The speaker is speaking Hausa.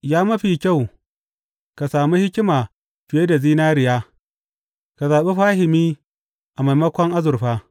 Ya ma fi kyau ka sami hikima fiye da zinariya, ka zaɓi fahimi a maimakon azurfa!